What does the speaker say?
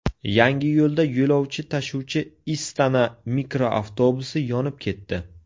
Yangiyo‘lda yo‘lovchi tashuvchi Istana mikroavtobusi yonib ketdi.